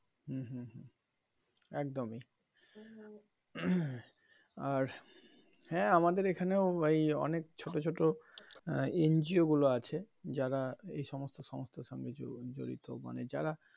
হম হম হম একদমই আর হ্যা আমাদের এখানেও এই অনেক ছোট ছোট আহ NGO গুলো আছে যারা এসমস্ত সংস্থার সঙ্গে জড়িত মানে যারা.